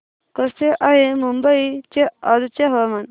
कसे आहे मुंबई चे आजचे हवामान